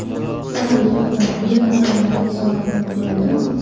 Chiroyli avtomobil raqamlarini sovg‘a qilib bo‘ladimi?.